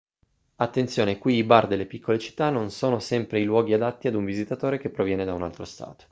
attenzione qui i bar delle piccole città non sono sempre i luoghi adatti ad un visitatore che proviene da un altro stato